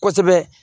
Kosɛbɛ